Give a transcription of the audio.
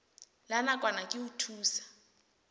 la nakwana ke ho thusa